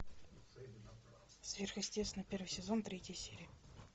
сверхъестественное первый сезон третья серия